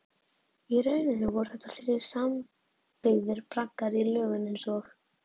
Í rauninni voru þetta þrír sambyggðir braggar í lögun einsog